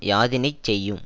யாதினைச் செய்யும்